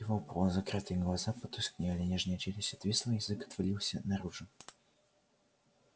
его полузакрытые глаза потускнели нижняя челюсть отвисла язык отвалился наружу